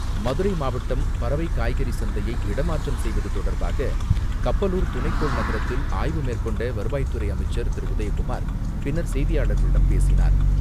மதுரை மாவட்டம் பறவை காய்கறி சந்தையை இடமாற்றம் செய்வது தொடர்பாக கப்பலூர் துணைக்கோள் நகரத்தில் ஆய்வு மேற்கொண்ட வருவாய்த்துறை அமைச்சர் திரு உதயகுமார், பின்னர் செய்தியாளர்களிடம் பேசினார்.